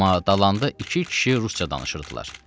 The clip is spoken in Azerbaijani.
Amma dalanda iki kişi rusca danışırdılar.